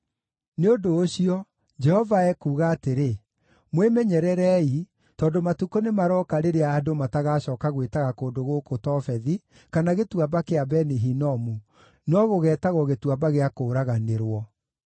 Nĩ ũndũ ũcio, Jehova ekuuga atĩrĩ, Mwĩmenyererei, tondũ matukũ nĩmarooka rĩrĩa andũ matagacooka gwĩtaga kũndũ gũkũ Tofethi, kana Gĩtuamba kĩa Beni-Hinomu, no gũgeetagwo Gĩtuamba gĩa Kũũraganĩrwo.